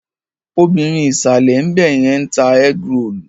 Obìrin ìsàlè ńbẹ̀yẹn ń ta ẹ́grolù.